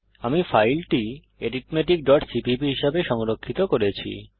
আমি ফাইলটি arithmeticসিপিপি হিসাবে সংরক্ষিত করেছি